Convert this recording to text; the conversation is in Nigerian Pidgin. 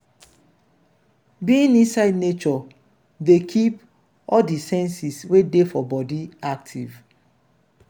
being inside nature dey keep all di senses wey dey for body active